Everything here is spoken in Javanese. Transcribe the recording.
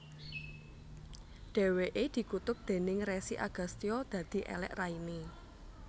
Dheweke dikutuk déning Resi Agastya dadi elek raine